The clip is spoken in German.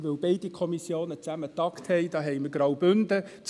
Denn beide Kommissionen haben gemeinsam getagt.